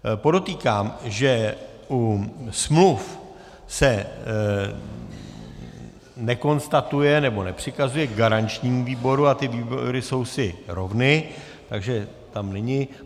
Podotýkám, že u smluv se nekonstatuje nebo nepřikazuje garančnímu výboru a ty výbory jsou si rovny, takže tam není.